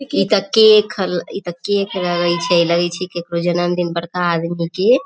इ केक इ ते केक हले इ ते केक लगे छै लगे छै ककरो जन्मदिन बड़का आदमी के --